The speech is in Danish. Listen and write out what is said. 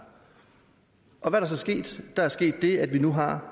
og hvad det så sket der er sket det at vi nu har